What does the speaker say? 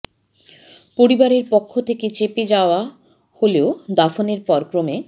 পরিবারের পক্ষ থেকে চেপে যাওয়া হলেও দাফনের পর ক্রমে